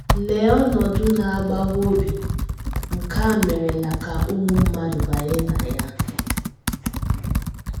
Lee ọnọdụ na - agbawa obi nke a merela ka ụmụ mmadụ banye na ya!